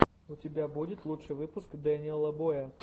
у тебя будет лучший выпуск дэниела боя